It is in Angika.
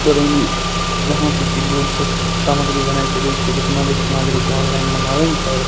बरौनी जहां पे की दूध से स सामग्री बने छै दूध के जेतना भी सामग्री ते ऑनलाइन मंगावे ने छो।